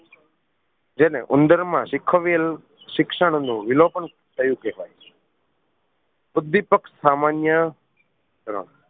જેને ઉંદર માં શીખવેલ શિક્ષણ નું વિલોપન થયું કહેવાય ઉદ્વિપક સામાન્ય